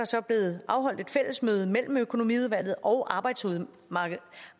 så blevet afholdt et fællesmøde mellem økonomiudvalget og